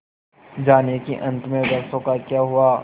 जानिए कि अंत में वृक्षों का क्या हुआ